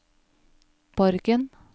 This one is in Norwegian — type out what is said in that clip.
Borgen